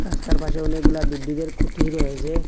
রাস্তার পাশে অনেকগুলা বিদ্যুতের খুঁটি রয়েসে।